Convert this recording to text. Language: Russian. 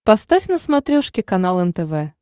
поставь на смотрешке канал нтв